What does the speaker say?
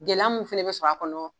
Gɛlɛya min fana bɛ sɔrɔ a kɔnɔ